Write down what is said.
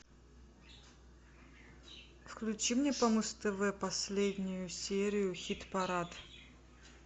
включи мне по муз тв последнюю серию хит парад